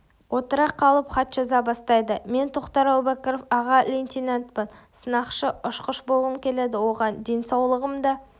отыра қалып хат жаза бастайды мен тоқтар әубәкіров аға лейтенантпын сынақшы-ұшқыш болғым келеді оған денсаулығым да